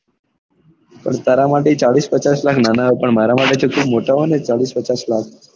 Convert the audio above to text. પણ તારા માટે ચાળીસ પચાસ લાખ નાના હોય પણ મારા માટે તો મોટા હોય ને ચાળીસ પચાસ લાખ